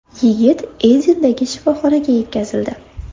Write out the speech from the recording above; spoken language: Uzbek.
Yigit Edindagi shifoxonaga yetkazildi.